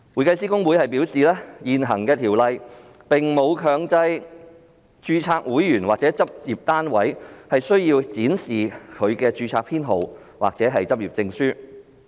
公會表示，現行《條例》並沒有強制公會註冊會員或執業單位須展示其註冊編號或執業證書。